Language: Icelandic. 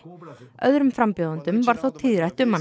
öðrum frambjóðendum var þó tíðrætt um hann